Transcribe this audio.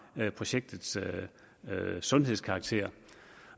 projektets sundhedskarakter